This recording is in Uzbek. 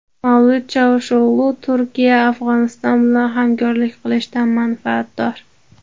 Mavlut Chavusho‘g‘lu: Turkiya Afg‘oniston bilan hamkorlik qilishdan manfaatdor.